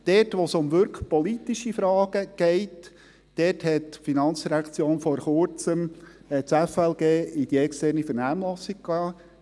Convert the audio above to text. Dort, wo es um wirklich politische Fragen geht, dort hat die FIN vor Kurzem das Gesetz über Finanzen und Leistungen (FLG) in die externe Vernehmlassung geschickt.